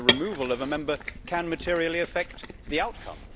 The removal of a Member can materially affect the outcome.